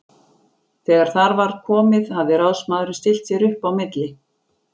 Þegar þar var komið hafði ráðsmaðurinn stillt sér upp á milli